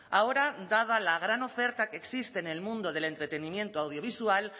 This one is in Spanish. ahora dada la gran oferta que existe en el mundo del entretenimiento audiovisual